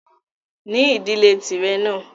Ní ìdílé tìrẹ náà!